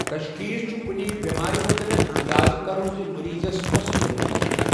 تَشخیٖص چھُ کُنہِ بؠمارِ مُتعلِق انٛدازٕ کرن زِمٔریٖضَس کۄسہٕ بؠمٲرۍ چھےٚ